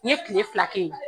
N ye kile fila kɛ ye.